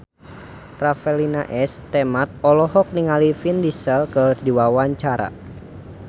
Revalina S. Temat olohok ningali Vin Diesel keur diwawancara